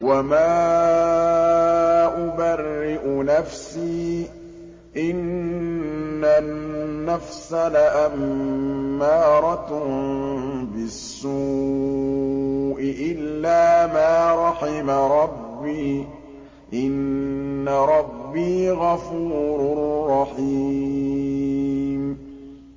۞ وَمَا أُبَرِّئُ نَفْسِي ۚ إِنَّ النَّفْسَ لَأَمَّارَةٌ بِالسُّوءِ إِلَّا مَا رَحِمَ رَبِّي ۚ إِنَّ رَبِّي غَفُورٌ رَّحِيمٌ